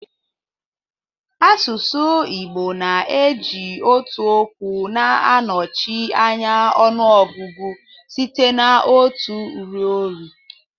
Asụsụ Igbo na-eji otu okwu na-anọchi anya ọnụọgụgụ site na otu ruo iri